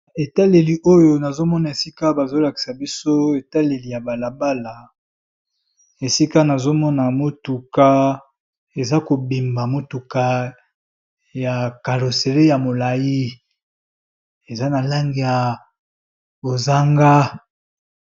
Etaleli oyo nazo mona esika bazo lakisa biso etaleli ya bala bala, esika nazo mona motuka eza kobima motuka ya caroserie ya molayi eza na langi ya bozanga.